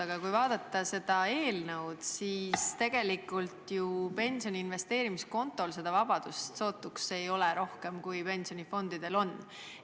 Aga kui vaadata seda eelnõu, siis tegelikult ei ole ju pensioni investeerimiskonto puhul seda vabadust sugugi rohkem, kui on pensionifondide puhul.